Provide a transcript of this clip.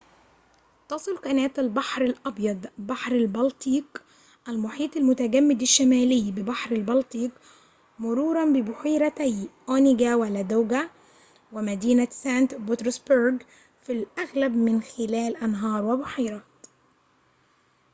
تصل قناة البحر الأبيض بحر البلطيق المحيط المتجمد الشمالي ببحر البلطيق مروراً ببحيرتي أونيجا ولادوجا ومدينة سانت بطرسبرغ في الأغلب من خلال أنهار وبحيرات